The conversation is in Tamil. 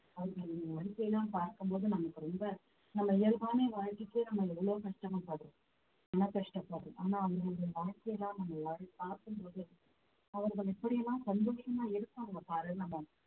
அவங்க வாழ்க்கைல பார்க்கும் போது நமக்கு ரொம்ப நம்ம இயல்பான வாழ்க்கைக்கே நம்ம எவ்வளவு கஷ்டமா படுறோம் என்னா கஷ்டப்படுறோம் ஆனா அவங்களுடைய வாழ்க்கையிலாம் நம்ம எல்லாரும் பார்க்கும் போது அவர்கள் எப்படி எல்லாம் இருப்பாங்க பாரு நம்ம